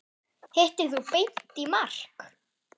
Hittir þú Beint í mark?